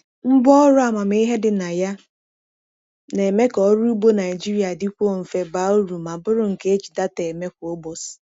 Ngwa ọrụ amamihe dị na ya na-eme ka ọrụ ugbo Naijiria dịkwuo mfe, baa uru, ma bụrụ nke e ji data eme kwa ụbọchị.